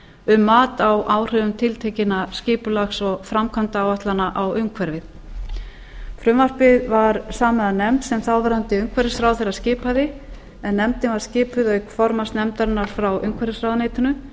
um mat á áhrifum tiltekinna skipulags og framkvæmdaáætlana á umhverfið frumvarpið var samið af nefnd sem þáverandi umhverfisráðherra skipaði en nefndin var skipuð auk formanns nefndarinnar frá umhverfisráðuneytinu